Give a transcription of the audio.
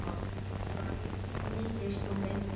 Hvað nýtist hún lengi?